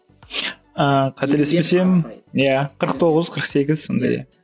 ыыы қателеспесем иә қырық тоғыз қырық сегіз сондай иә